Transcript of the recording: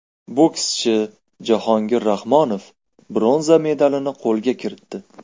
Bokschi Jahongir Rahmonov bronza medalni qo‘lga kiritdi.